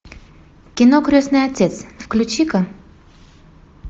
кино крестный отец включи ка